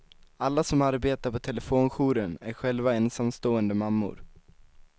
Alla som arbetar på telefonjouren är själva ensamstående mammor.